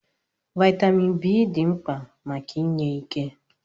Vaịtamin B dị mkpa maka enye ike.